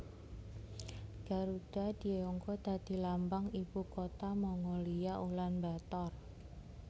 Garudha dienggo dadi lambang ibu kutha Mongolia Ulan Bator